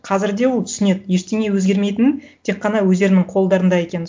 қазір де ол түсінеді ештене өзгермейтінін тек қана өздерінің қолдарында екенін